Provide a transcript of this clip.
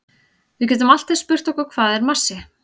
Við getum allt eins spurt okkur hvað er massi?